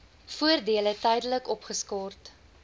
voordele tydelik opgeskort